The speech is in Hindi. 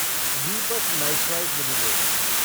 Deepak nitrite limited